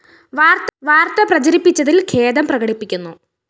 വാര്‍ത്ത പ്രചരിപ്പിച്ചതില്‍ ഖേദം പ്രകടിപ്പിക്കുന്നു